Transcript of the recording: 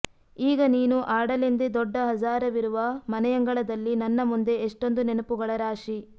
ಈಗ ನೀನು ಆಡಲೆಂದೇ ದೊಡ್ಡ ಹಜಾರವಿರುವ ಮನೆಯಂಗಳದಲ್ಲಿ ನನ್ನ ಮುಂದೆ ಎಷ್ಟೊಂದು ನೆನಪುಗಳ ರಾಶಿ